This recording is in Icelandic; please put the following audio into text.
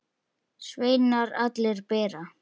Sveinar allir bera.